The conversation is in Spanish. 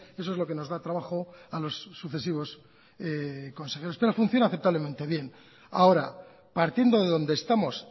eso es lo que nos da trabajo a los sucesivos consejeros pero funciona aceptablemente bien ahora partiendo de donde estamos